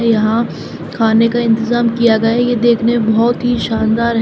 यहां खाने का इंतेजाम किया गया है ये देखने में बहोत ही शानदार है।